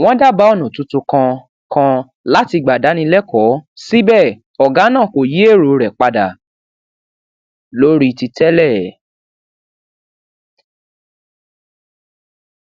wón dábàá ònà tuntun kan kan láti gbà dáni lékòó síbẹ ògá náà kò yí èrò rè padà lórí ti tẹlẹ